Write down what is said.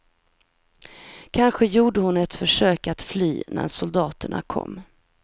Kanske gjorde hon ett försök att fly när soldaterna kom.